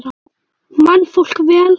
Man fólk vel?